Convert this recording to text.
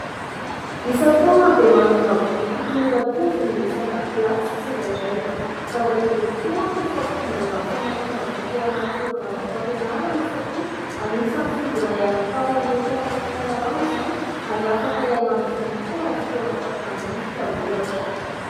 Isan-taona dia manana boky tokony horantovina ny isan-dakilasy tsirairay. Zava-dehibe tokoa manko ny fampidirana ny famakiana boky ao anaty prôgrama mpampianarana satria anisan'ny fomba iray hanitaran'ireo mpianatra fahalalàna izany ary afaka hialan'ny voly koa amin'ny fotoana fakan-drivotra ohatra.